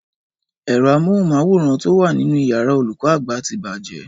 Ẹ̀rọ amóhùnmáwòrán tó wa nínu iyàrá olùkó àgbà ti bàjé